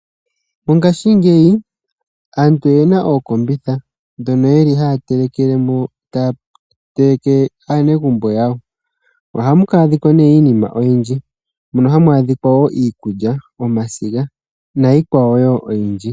Mongashingeyi aantu oyena ookombitha ndhono ye li haya telekelemo, ta ya telekele aanegumbo yawo. Ohamu adhika nee iinima oyindji ngaashi iikulya, omasiga niikwawo oyindji.